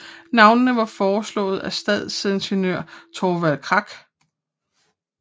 Navnene var foreslået af stadsingeniør Thorvald Krak